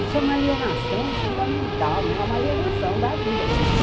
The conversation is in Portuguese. Isso é uma alienação fundamental, né, uma alienação da vida.